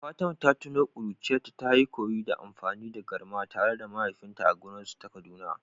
Fatima ta tuno ƙuruciyarta ta koyi amfani da garma tare da mahaifinta a gonar su ta Kaduna.